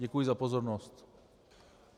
Děkuji za pozornost.